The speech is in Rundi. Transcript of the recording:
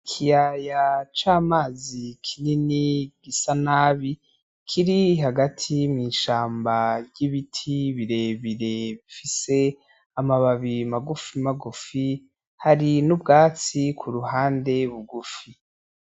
Ikiyaya c'amazi kinini gisa nabi kiri hagati mw'ishamba ry'ibiti birebire bifise amababi magufi magufi hari n'ubwatsi ku ruhande bugufi.